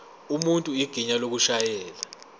umuntu igunya lokushayela